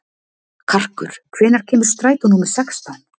Karkur, hvenær kemur strætó númer sextán?